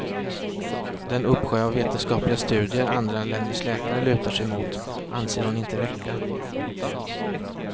Den uppsjö av vetenskapliga studier andra länders läkare lutar sig mot anser hon inte räcka.